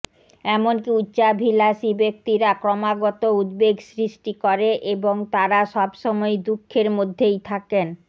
এমনকি উচ্চাভিলাষী ব্যক্তিরা ক্রমাগত উদ্বেগ সৃষ্টি করে এবং তারা সবসময়ই দুখের মধ্যেই থাকেন